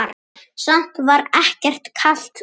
Samt var ekkert kalt úti.